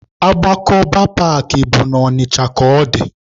Agbakọba paakị bụ na Ọnịcha ka ọ dị.